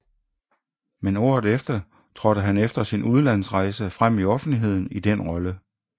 Men året efter trådte han efter sin udlandsrejse frem i offentligheden i den rolle